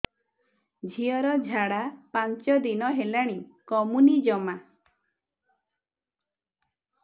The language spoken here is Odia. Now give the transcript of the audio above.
ଝିଅର ଝାଡା ପାଞ୍ଚ ଦିନ ହେଲାଣି କମୁନି ଜମା